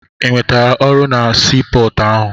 Ị nwetere ọrụ na sii pọọtụ ahụ?